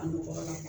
A ɲɔgɔnna